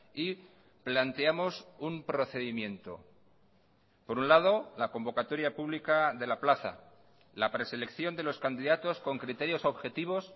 y planteamos un procedimiento por un lado la convocatoria pública de la plaza la preselección de los candidatos con criterios objetivos